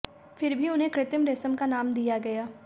फिर भी उन्हें कृत्रिम रेशम का नाम दिया गया